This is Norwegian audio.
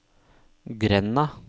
grenda